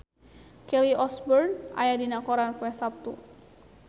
Kelly Osbourne aya dina koran poe Saptu